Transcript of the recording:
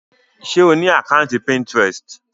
Ṣe o ni àkàntí Pinterest?